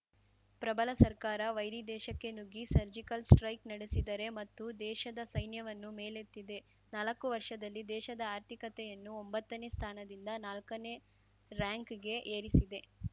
ಪ್ರಬಲ ಸರ್ಕಾರ ವೈರಿದೇಶಕ್ಕೆ ನುಗ್ಗಿ ಸರ್ಜಿಕಲ್‌ ಸ್ಟೈಕ್‌ ನಡೆಸಿದರೆ ಮತ್ತು ದೇಶದ ಸೈನ್ಯವನ್ನು ಮೇಲೆತ್ತಿದೆ ನಾಲ್ಕು ವರ್ಷದಲ್ಲಿ ದೇಶದ ಆರ್ಥಿಕತೆಯನ್ನು ಒಂಬತ್ತನೇ ಸ್ಥಾನದಿಂದ ನಾಕನೇ ರಾರ‍ಯಂಕ್‌ಗೆ ಏರಿಸಿದೆ